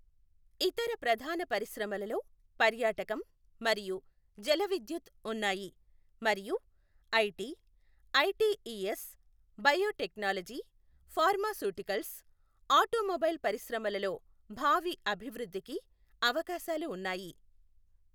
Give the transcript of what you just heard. ఇతర ప్రధాన పరిశ్రమలలో పర్యాటకం మరియు జలవిద్యుత్ ఉన్నాయి, మరియు IT, ITES, biotechnology, pharmaceuticals, automobile పరిశ్రమలలో భావి అభివృద్ధికి అవకాశాలు ఉన్నాయి.